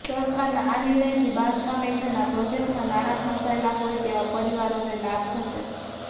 સરકારના આ નિર્ણયથી બાંધકામ હેઠળના પ્રોજેક્ટમાં નાણાં ફસાયેલા હોય તેવા પરિવારોને લાભ થશે